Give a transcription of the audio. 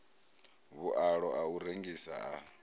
vhualo a u rengisa a